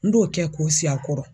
N b'o kɛ k'o sigi a kɔrɔ.